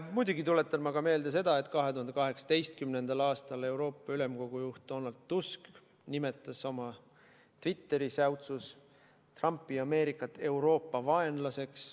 Muidugi tuletan ma meelde seda, et 2018. aastal nimetas Euroopa Ülemkogu juht Donald Tusk oma Twitteri säutsus Trumpi Ameerikat Euroopa vaenlaseks.